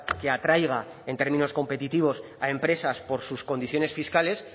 que atraiga en términos competitivos a empresas por sus condiciones fiscales